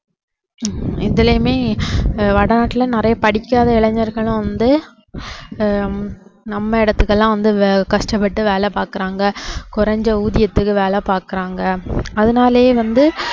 இதுலேயுமே ஆஹ் வடநாட்டுல நிறைய படிக்காத இளைஞர்களும் வந்து ஆஹ் நம்ம இடத்துக்கு எல்லாம் வந்து கஷ்டப்பட்டு வேலை பாக்கறாங்க குறைஞ்ச ஊதியத்துக்கு வேலை பாக்கறாங்க அதனாலேயே வந்து